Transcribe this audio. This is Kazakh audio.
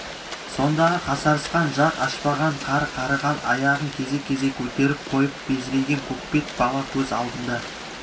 сондағы қасарысқан жақ ашпаған қар қарыған аяғын кезек-кезек көтеріп қойып безірейген көкбет бала көз алдында